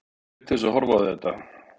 Ég naut þess að horfa á þetta.